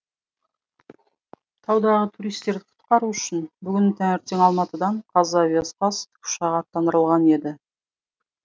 таудағы туристерді құтқару үшін бүгін таңертең алматыдан қазавиаспас тікұшағы аттандырылған еді